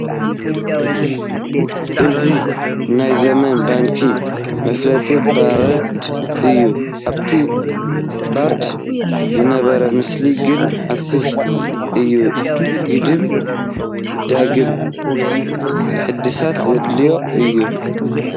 እዚ ናይ ዘመን ባንኪ መፋለጢ ቦርድ እዩ፡፡ ኣብቲ ቦርድ ዝነበረ ምስሊ ግን ሓሲሲ እዩ፡፡ ግድም ዳግም ሕድሳት ዘድልዮ እዩ ፡፡